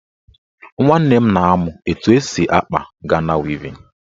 Nwanne m na-amụ etu esi akpa Gana wevin